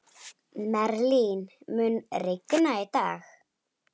Merlin, mun rigna í dag?